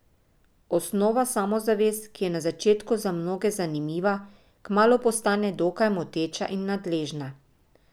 Ovnova samozavest, ki je na začetku za mnoge zanimiva, kmalu postane dokaj moteča in nadležna.